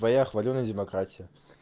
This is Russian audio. твоя хвалёная демократия